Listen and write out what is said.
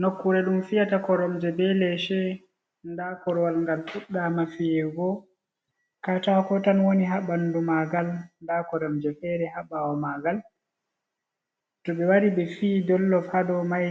Nokkure ɗum fiyata koromje be leshe. Nda korowal ngal fuɗɗa ma fiyego, katako tan woni ha ɓandu maagal, nda koromje fere ha ɓawo maagal to ɓe wari ɓe fi dollof haa dow mai